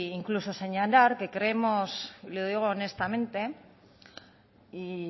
incluso señalar que creemos y lo digo honestamente y